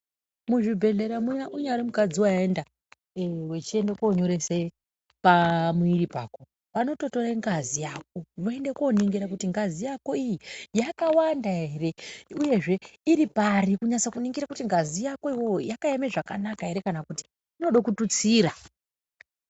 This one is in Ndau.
Muzvibhedhlera muya unyari mukadzi vaenda ee uchienda konyoresa pamwiri pako vanototore ngazi yako voenda koningira kuti ngazi yako iyi yakawanda ere, uyezve iripari kutingira kuti ngazi yako ivovo yakaema zvakanaka ere, kana kuti inoda kututsira.